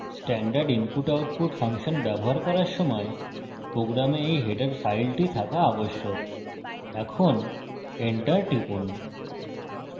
standard input / output function ব্যবহার করার সময় প্রোগ্রামে এই হেডার ফাইলটি থাকা আবশ্যক এখন enter টিপুন